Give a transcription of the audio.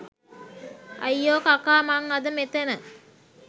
අයියෝ කකා මං අද මෙතැන